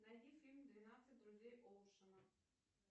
найди фильм двенадцать друзей оушена